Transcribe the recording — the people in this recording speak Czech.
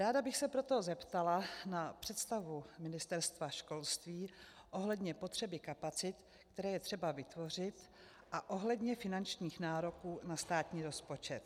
Ráda bych se proto zeptala na představu Ministerstva školství ohledně potřeby kapacit, které je třeba vytvořit a ohledně finančních nároků na státní rozpočet.